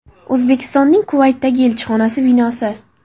O‘zbekistonning Kuvaytdagi elchixonasi binosi.